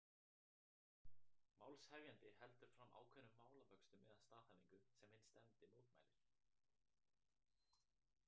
Málshefjandi heldur fram ákveðnum málavöxtum eða staðhæfingu, sem hinn stefndi mótmælir.